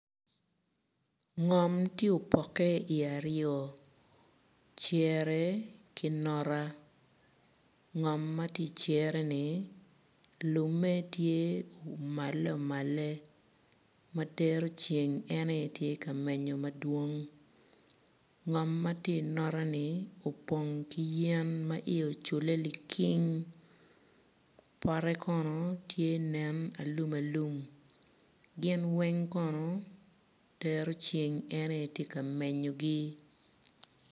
Ngom ti opoke i aryo cere ki nota ngom ma ti i cereni lumme tye umale umale ma dero ceng en aye tye ka menyo madwong ngom ma ti inotani opng ki yen ma iye ocule likiing pote kono tye nen alum alum gin weny kono dero ceng en aye ti ka menyogi